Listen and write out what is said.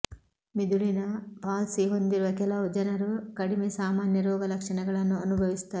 ಮಿದುಳಿನ palsy ಹೊಂದಿರುವ ಕೆಲವು ಜನರು ಕಡಿಮೆ ಸಾಮಾನ್ಯ ರೋಗಲಕ್ಷಣಗಳನ್ನು ಅನುಭವಿಸುತ್ತಾರೆ